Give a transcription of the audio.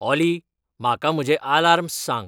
ऑली म्हाका म्हजे आलार्म्स सांग